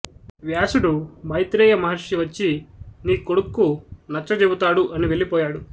వ్యాసుడు మైత్రేయ మహర్షి వచ్చి నీ కొడుక్కు నచ్చ చెబుతాడు అని వెళ్ళి పోయాడు